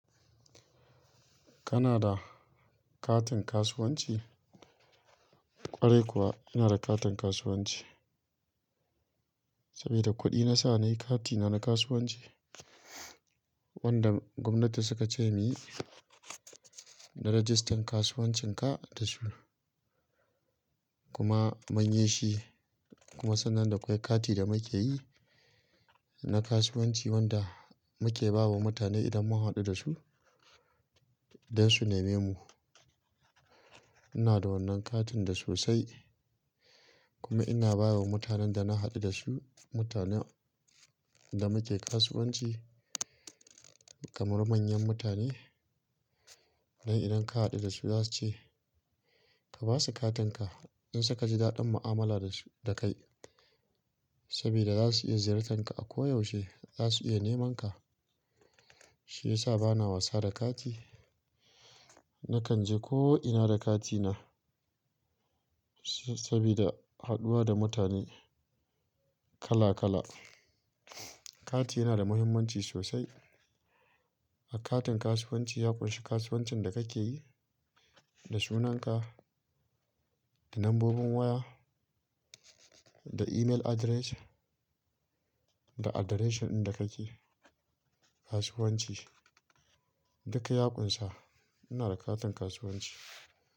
Kana da katin kasuwanci? Kwarai kuwa, ina da katin kasuwanci. Sabida kuɗi na sa nayi kati na na kasuwanci wanda gwamnati suka ce muyi na rajistan kasuwancin ka da suna. Kuma mun yi shi kuma sannan dakwai kati da muke yi na kasuwanci wanda muke ba wa mutane idan mun haɗu da su don su nema mu. Ina da wannan katin da sosai kuma ina ba wa mutanen da na haɗu da su, mutanen da muke kasuwanci kamar manyan mutane. Don idan ka haɗu da su za su ce ka ba su katinka in su ka ji daɗin mu'amala da su-- da kai. Sabida za su iya ziyartan ka a ko yaushe, za su iya neman ka. Shi ya sa bana wasa da kati. Nakan je ko ina da kati na sabida haɗuwa da mutane kala kala. Kati yana da muhimmanci sosai. A katin kasuwanci ya ƙunshi kasuwancin da kake yi, da sunan ka, da nambobin waya, da email address, da addreshin inda kake kasuwanci. Duk ya ƙunsa. Ina da katin kasuwanci.